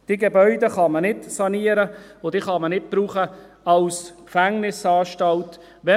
Diese Gebäude kann man nicht sanieren, und man kann sie nicht als Gefängnisanstalt brauchen.